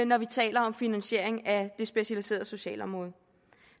når vi taler om finansiering af det specialiserede socialområde